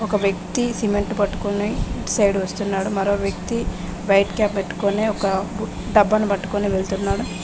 ఒక వ్యక్తి సిమెంట్ పట్టుకుని ఇటు సైడ్ వస్తున్నాడు మరో వ్యక్తి వైట్ కాప్ పెట్టుకొని ఒక డబ్బాని పట్టుకొని వెళ్తున్నాడు.